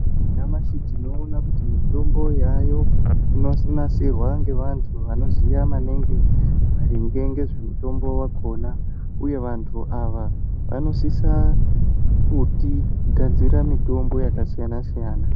Nyamashi tinoona kuti mitombo yavayo inonasirwa nevantu vanoziva maningi maringe nezvu mitombo yakona uye vantu ava vanosisa kuti gadzirira mutombo yakasiyana siyana.